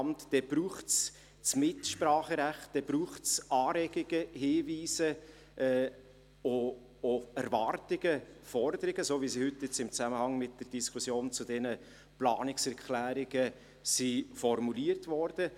Dann braucht es das Mitspracherecht, dann braucht es Anregungen, Hinweise, auch Erwartungen und Forderungen, so wie sie heute im Zusammenhang mit der Diskussion zu diesen Planungserklärungen formuliert wurden.